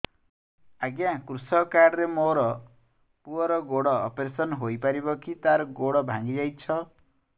ଅଜ୍ଞା କୃଷକ କାର୍ଡ ରେ ମୋର ପୁଅର ଗୋଡ ଅପେରସନ ହୋଇପାରିବ କି ତାର ଗୋଡ ଭାଙ୍ଗି ଯାଇଛ